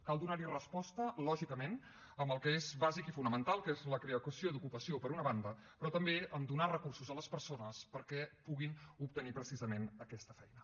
cal donar hi resposta lògicament amb el que és basic i fonamental que és la creació d’ocupació per una banda però també amb donar recursos a les persones perquè puguin obtenir precisament aquesta feina